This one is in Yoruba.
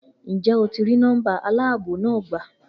Njẹ o ti ri nọmba aláàbò na gba?